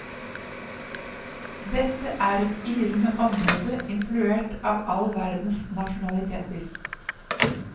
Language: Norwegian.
Dette er et yrende område influert av all verdens nasjonaliteter.